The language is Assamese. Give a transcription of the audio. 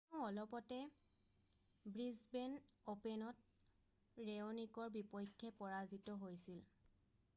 তেওঁ অলপতে ব্ৰিছবেন অ'পেনত ৰেঅ'নিকৰ বিপক্ষে পৰাজিত হৈছিল৷